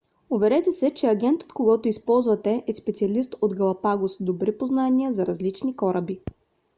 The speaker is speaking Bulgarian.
уверете се че агентът когото използвате е специалист от галапагос с добри познания за различни кораби